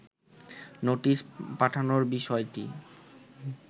notice পাঠানোর বিষয়টি